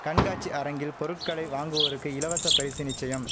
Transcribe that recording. கண்காட்சி அரங்கில் பொருட்களை வாங்குவோருக்கு இலவச பயுசு நிச்சயம்